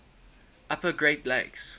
upper great lakes